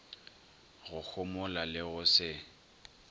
go homola le go se